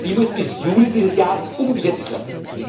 Diese muss bis Juli dieses Jahres umgesetzt werden.